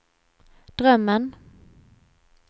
drömmen